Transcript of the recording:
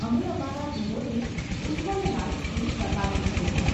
અમે અમારા ઘરોને ઉજ્જવળ લાઈટ્સથી પ્રકાશિત કરીએ.